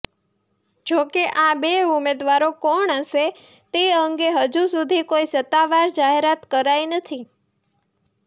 જોકે આ બે ઉમેદવારો કોણ હશે તે અંગે હજુ સુધી કોઈ સત્તાવાર જાહેરાત કરાઈ નથી